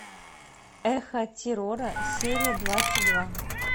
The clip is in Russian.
эхо террора серия двадцать два